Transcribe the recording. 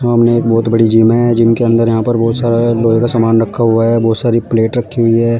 सामने एक बहुत बड़ी जिम है जिम अंदर यहां पर बहुत सारा लोहे का समान रखा हुआ है बहुत सारी प्लेट रखी हुई है।